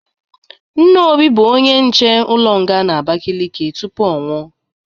Nna Obi bụrụ onye nche ụlọ nga n'Abakeleke tupu ọnwụ.